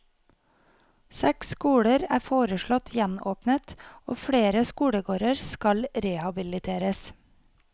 Seks skoler er foreslått gjenåpnet og flere skolegårder skal rehabiliteres.